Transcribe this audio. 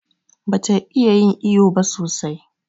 Bata iya yin iƴo ba sosai.